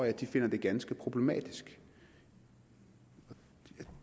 at de finder det ganske problematisk jeg